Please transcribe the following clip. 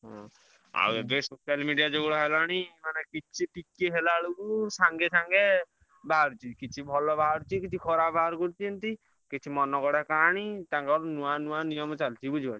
ହୁଁ ଆଉ ଏବେ social media ଯୁଗ ହେଲାଣି ମାନେ କିଛି ଟିକେ ହେଲାବେଳକୁ ସଙ୍ଗେ ସଙ୍ଗେ ବାହାରୁଛି କିଛି ଭଲ ବାହାରୁଛି କିଛି ଖରାପ ବାହାରକରୁଛନ୍ତି କିଛି ମନଗଢା କାହାଣୀ ତାଙ୍କର ନୂଆ ନୂଆ ନିୟମ ଚଳୁଛିବୁଝିଲ ନାଁ।